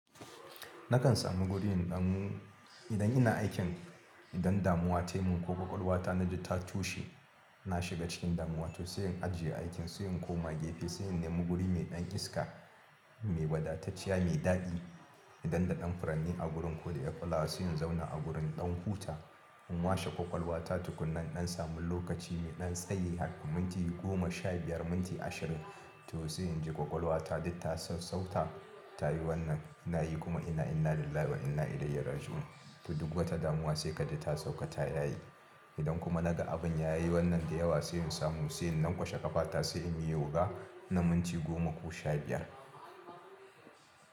Nakan samu guri in ɗan idan ina aikin idan damuwa tayi mun ko ƙwaƙwalwa ta naji ta tushe, na shiga cikin damuwa to sai in ajiye aikin, sai in koma gefe, sai in nemi guri mai ɗan iska, mai wadatacciya, mai daɗi idan da ɗan furanni a gurin ko da 'ƴar fulawa sai in zauna a gurin in ɗan huta in washe ƙwaƙwalwa ta tukunna in ɗan samu lokaci mai ɗan tsayi haka minti goma shaibiyar, minti ashirin toh sai inji ƙwaƙwalwa ta duk ta sau-sauta ta yi wannan ina yi kuma ina inna lillahi wa inna ilaihi raji'un. To duk wata damuwa sai kaji ta sauka ta yi yaye. Idan kuma naga abin ya yi wannan da yawa sai in samu, sai in na lanƙwashe ƙafa ta, sai in yi yoga na minti goma ko shaibiyar.